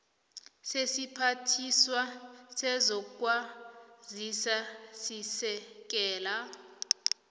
sesiphathiswa sezokwazisa sesekela